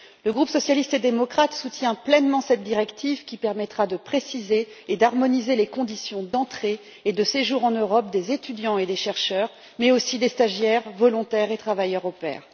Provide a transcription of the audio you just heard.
Le groupe des socialistes et démocrates soutient pleinement cette directive qui permettra de préciser et d'harmoniser les conditions d'entrée et de séjour en Europe des étudiants et des chercheurs mais aussi des stagiaires volontaires et travailleurs au pair.